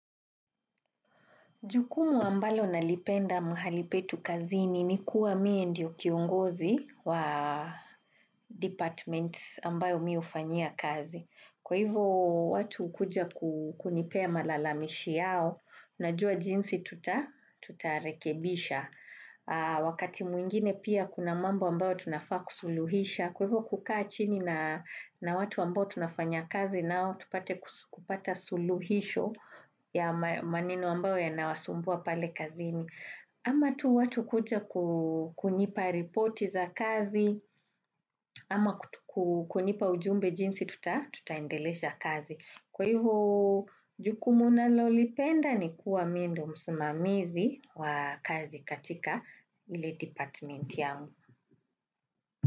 Jukumu ambalo nalipenda mahalipetu kazini ni kuwa mie ndiyo kiongozi wa department ambayo mi hufanyia kazi. Kwa hivyo watu kuja kunipea malalamishi yao, unajua jinsi tutarekebisha. Wakati mwingine pia kuna mambo ambayo tunafaa kusuluhisha. Kwa hivyo kukaa chini na watu ambao tunafanya kazi nao, tupate kupata suluhisho ya maneno ambao ya nawasumbua pale kazini. Ama tu watu kuja kukunipa ripoti za kazi, ama kukunipa ujumbe jinsi, tutaendelesha kazi. Kwa hivyo, jukumuna lolipenda ni kuwa mi ndo msimamizi wa kazi katika ili department yao.